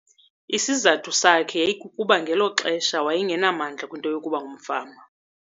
Isizathu sakhe yayikukuba ngelo xesha wayengenamandla kwinto yokuba ngumfama.